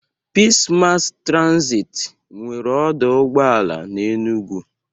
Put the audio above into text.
Pis Mass Transiti nwere ọdọ ụgbọala n'Enugwu.